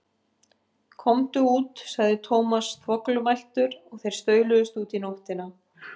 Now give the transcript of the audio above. Komdu út sagði Thomas þvoglumæltur og þeir stauluðust út í nóttina.